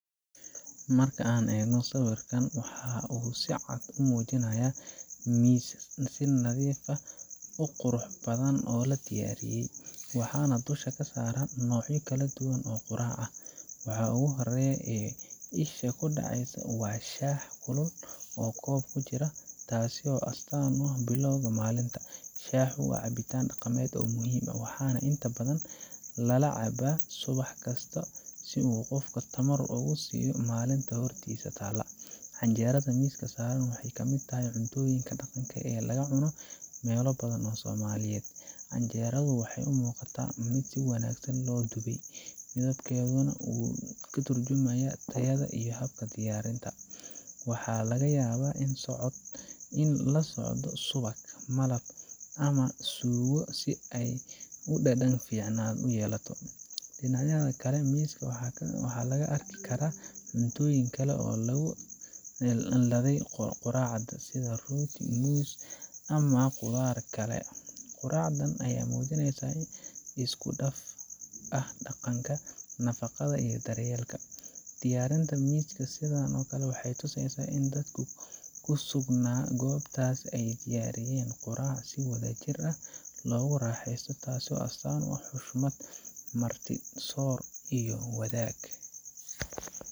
Marka aan eegno sawirkan, waxa uu si cad u muujinayaa miis si nadiif ah oo qurux badan loo diyaariyey, waxaana dusha saaran noocyo kala duwan oo quraac ah. Waxa ugu horreeya ee isha ku dhacysa waa shaah kulul oo koobab ku jira, taasoo astaan u ah bilowga maalinta. Shaahu waa cabitaan dhaqameed muhiim ah, waxaana inta badan lala cabo subax kasta si uu qofka tamar ugu siiyo maalinta hortiisa taalla. Canjeerada miiska saaran waxay ka mid tahay cuntooyinka dhaqanka ee laga cuno meelo badan oo Soomaaliya ah. Canjeeradu waxay u muuqataa mid si wanaagsan loo dubay, midabkeeduna wuu ka tarjumayaa tayada iyo habka diyaariyey. Waxaa laga yaabaa in la socdo subag, malab ama suugo si ay dhadhan fiican u yeelato. Dhinacyada kale ee miiska waxaa laga arki karaa cuntooyin kale oo lagu ladhay quraacda sida rooti, muus, timir ama khudaar kale. Quraacdan ayaa muujinaysa isku dhaf ah dhaqanka, nafaqada iyo daryeelka. Diyaarinta miis sidan ah waxay tusaysaa in dadka ku sugnaa goobtaas ay diyaariyeen quraac si wadajir ah loogu raaxeysto, taasoo astaan u ah xushmad, martisoor iyo wadaag.